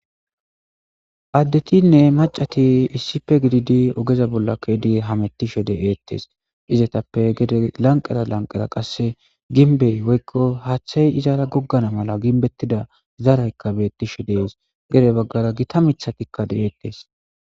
Addetinne macati issipe gididi ogeza bolla keedi hamettishe de eettes izetappe gede lanqera lanqera qasse ginbey woykko haaththay izaara goggana mala ginbettida zaraykka beettishe dees gede baggara gita mithatikkade eettees.